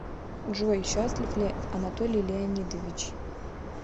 джой счастлив ли анатолий леонидович